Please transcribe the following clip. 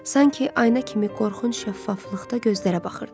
Sanki ayna kimi qorxunc şəffaflıqda gözlərə baxırdı.